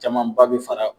Caman ba bɛ fara